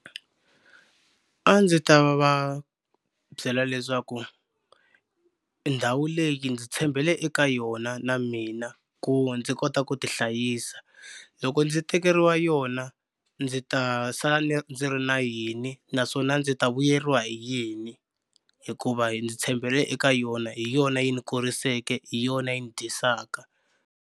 A ndzi ta va byela leswaku ndhawu leyi ndzi tshembele eka yona na mina ku ndzi kota ku tihlayisa loko ndzi tekeriwa yona ndzi ta sala ni ndzi ri na yini naswona ndzi ta vuyeriwa hi yini hikuva ndzi tshembele eka yona hi yona yi ni kuriseleke hi yona yi ni dyisaka.